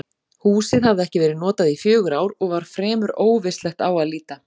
Húsið hafði ekki verið notað í fjögur ár og var fremur óvistlegt á að líta.